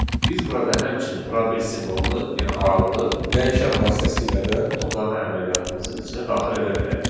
Biz burada həmçinin probel simvolunu, yəni aralığı dəyişən vasitəsilə də toplama əməliyyatımızın üçünə daxil edə bilərik.